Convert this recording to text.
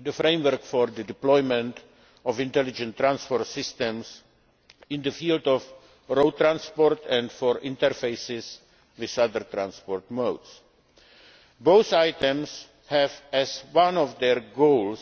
the framework for the deployment of Intelligent Transport Systems in the field of road transport and for interfaces with other modes of transport. Both items have as one of their goals